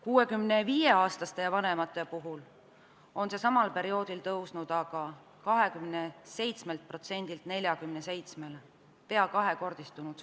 65-aastaste ja vanemate puhul on see samal perioodil tõusnud aga 27%-lt 47%-le, suhteline vaesus on peaaegu kahekordistunud.